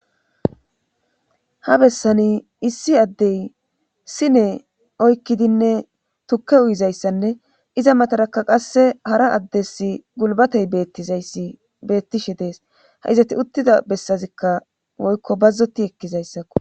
Ha bessani issi addey sine oykkidinne tukke uyizayssanne iza matarakka qasse hara addes gulbatey bettizayssi beettishe dees. ha izati uttida bessazikka woykko bazzoti ekkizayssakko.